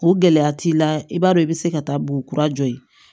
O gɛlɛya t'i la i b'a dɔn i bɛ se ka taa bo kura jɔ yen